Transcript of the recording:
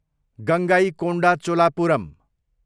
Gangaikonda Cholapuram